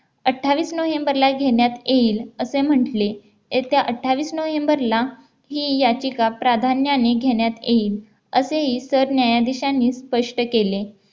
अठ्ठावीस नोव्हेंबरला घेण्यात येईल असे म्हटले येत्या अठ्ठावीस नोव्हेंबरला ही याचिका प्राधान्याने घेण्यात येईल असेही सरन्यायाधीशांनी स्पष्ट केले